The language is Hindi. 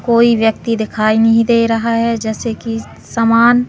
कोई व्यक्ति दिखाई नहीं दे रहा है जैसे कि समान--